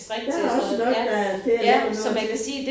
Der er også nok der til at lave noget til